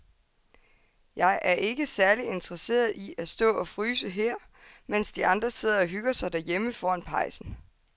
Jeg er ikke særlig interesseret i at stå og fryse her, mens de andre sidder og hygger sig derhjemme foran pejsen.